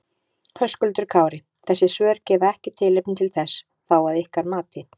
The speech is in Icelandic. Höskuldur Kári: Þessi svör gefa ekki tilefni til þess þá að ykkar mati?